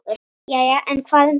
Jæja, en hvað um það.